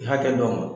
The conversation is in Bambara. Hakɛ dɔ ma